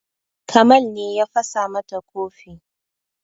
Kamal ne ya fasa mata kofi